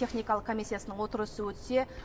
техникалық комиссиясының отырысы өтсе